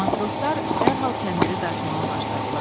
Matroslar dərhal kəndiri dartmağa başladılar.